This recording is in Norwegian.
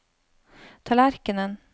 tallerkenen